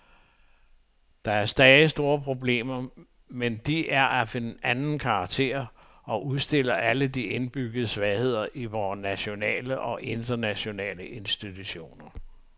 Der er stadig store problemer, men de er af en anden karakter og udstiller alle de indbyggede svagheder i vore nationale og internationale institutioner.